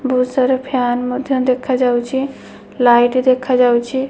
ବୋହୁତ୍ ସାରା ଫ୍ୟାନ୍ ମଧ୍ୟ ଦେଖାଯାଉଚି ଲାଇଟ୍ ଦେଖାଯାଉଚି।